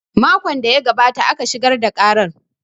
Makon da ya gabata aka shigar da karan